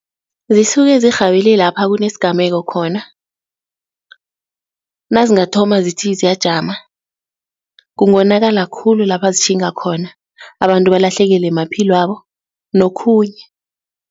Zisuke zirhabele lapha kunesigameko khona, nazingathoma zithi ziyajama kungonakala khulu lapha zitjhinga khona, abantu balahlekelwe maphilwabo nokhunye.